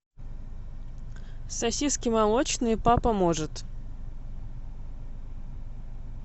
сосиски молочные папа может